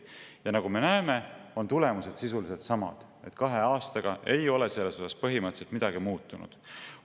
Ja nagu me näeme, on tulemused sisuliselt samad, kahe aastaga ei ole selles osas põhimõtteliselt midagi muutunud.